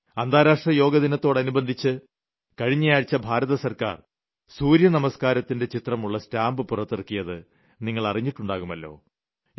അന്താരാഷ്ട്ര യോഗാ ദിനത്തോട് അനുബന്ധിച്ച് കഴിഞ്ഞയാഴ്ച ഭാരത സർക്കാർ സൂര്യ നമസ്ക്കാരത്തിന്റെ ചിത്രമുളള സ്റ്റാമ്പ് പുറത്തിറക്കിയത് നിങ്ങൾ അറിഞ്ഞിട്ടുണ്ടാകുമല്ലോ